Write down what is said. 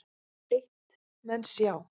Eitt menn sjá